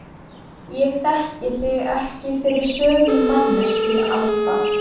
Ég þekki þig ekki fyrir sömu manneskju Alda.